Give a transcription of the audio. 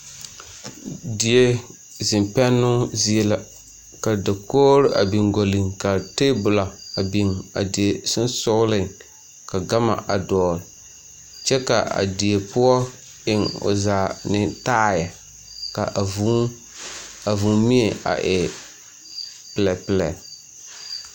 Die zeŋ pɛnnoo zie la ka dakoore biŋ gɔlliŋ kaa teebolɔ a biŋ a die seŋsogliŋ ka gama a dɔɔle kyɛ kaa die poɔ eŋ o zaa ne taaɛ ka a vuu a vuumie a e pilɛpilɛ.